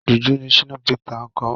Jùjú ni Shina Peters ń kọ.